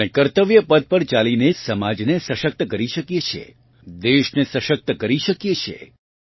આપણે કર્તવ્ય પથ પર ચાલીને જ સમાજને સશક્ત કરી શકીએ છીએ દેશને સશક્ત કરી શકીએ છીએ